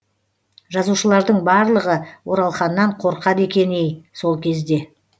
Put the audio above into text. жазушылардың барлығы оралханнан қорқады екен ей сол кезде